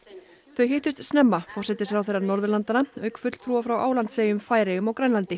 þau hittust snemma forsætisráðherrar Norðurlandanna auk fulltrúa frá Álandseyjum Færeyjum og Grænlandi